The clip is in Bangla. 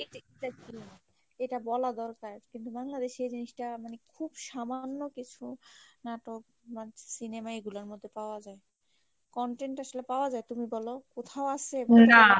এটা বলা দরকার কিন্তু বাংলাদেশে জিনিসটা মানে খুব সামান্য কিছু নাটক সিনেমায় এগুলার মধ্যে পাওয়া যায় content আসলে পাওয়া যাই তুমি বলো কোথাও আছে